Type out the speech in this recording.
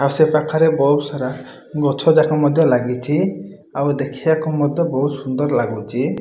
ଆଉ ସେ ପାଖରେ ବହୁତ୍ ସାରା ଗଛ ଯାକ ମଧ୍ୟ ଲାଗିଚି। ଆଉ ଦେଖିବାକୁ ମଧ୍ୟ ବହୁତ୍ ସୁନ୍ଦର ଲାଗୁଚି।